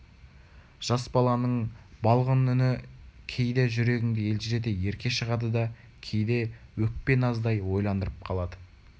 жас баланың балғын үні кейде жүрегіңді елжірете ерке шығады да кейде өкпе-наздай ойландырып қалады